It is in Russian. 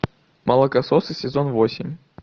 молокососы сезон восемь